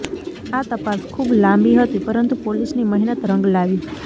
આ તપાસ ખુબ લાંબી હતી પરંતુ પોલીસની મહેનત રંગ લાવી